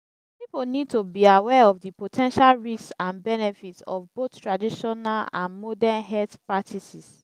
people need to be aware of di po ten tial risks and benefits of both traditional and morden health practices.